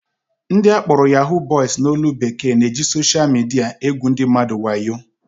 Ndị akpọrọ "Yahoo boys" n'olu bekee na-eji sosha midia egwu ndị mmadụ wayo